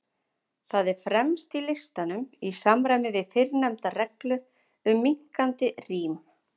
Það er fremst í listanum, í samræmi við fyrrnefnda reglu um minnkandi rím.